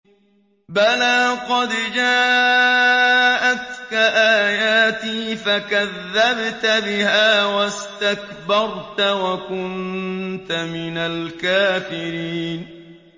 بَلَىٰ قَدْ جَاءَتْكَ آيَاتِي فَكَذَّبْتَ بِهَا وَاسْتَكْبَرْتَ وَكُنتَ مِنَ الْكَافِرِينَ